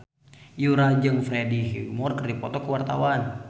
Yura jeung Freddie Highmore keur dipoto ku wartawan